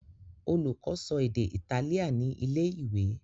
Olùkó so èdè Itálíà ní ilé-ìwé.